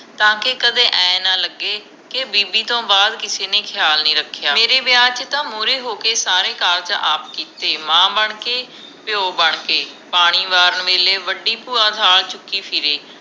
ਤਾਂ ਕਿ ਕਦੇ ਏ ਨਾ ਲਗੇ ਕਿ ਬੀਬੀ ਤੋਂ ਬਾਅਦ ਕਿਸੀ ਨੇ ਖਿਆਲ ਨੀ ਰੱਖਿਆ, ਮੇਰੇ ਵਿਆਹ ਚ ਤਾ ਮੂਰੇ ਹੋਕੇ ਸਾਰੇ ਕਾਰਜ ਆਪ ਕੀਤੇ ਮਾਂ ਬਣਕੇ ਪਿਓ ਬਣ ਕੇ ਪਾਣੀ ਵਾਰਨ ਵੇਲੇ ਵੱਡੀ ਭੂਆ ਥਾਲ ਚੁਕੀ ਫਿਰੇ